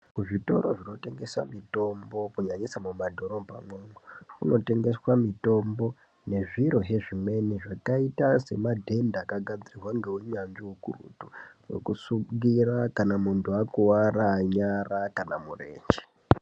Kuzvitoro zvinotengesa mitombo kunyanyisa mumadhorobhamwo, munotengeswa mitombo nezviro zvezvimweni zvakaita semadhenda akagadzirwa ngeunyanzvi hwekuretu okusungira kana muntu akuwara nyara kana murenje.